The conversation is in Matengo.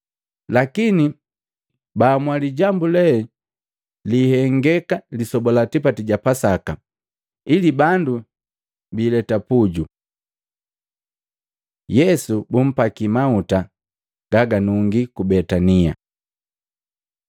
Lakini baamua lijambu lee liihengeka lisoba la tipati ja Pasaka, ili bandu biileta puju. Yesu bumpaki mauta gaganungi ku Betania Maluko 14:3-9; Yohana 12:1-8